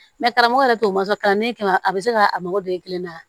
karamɔgɔ yɛrɛ t'o masɔrɔ kalanden kɛ la a bɛ se ka a mago don e kelen na